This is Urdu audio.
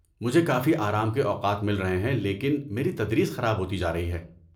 مجھے کافی آرام کے اوقات مل رہے ہیں لیکن میری تدریس خراب ہوتی جا رہی ہے۔